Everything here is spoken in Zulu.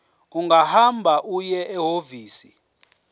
ungahamba uye ehhovisi